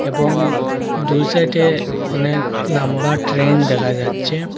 এবং দুই সাইডে অনেক লম্বা ট্রেন দেখা যাচ্ছে।